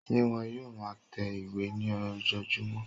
Ṣé wón yóò ma tẹ ìwé ní ojojúmọ́?